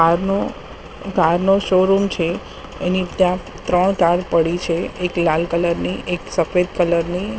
Car નો car નો showroom છે એની ત્યાં ત્રણ કાર પડી છે. એક લાલ કલર ની એક સફેદ કલર ની.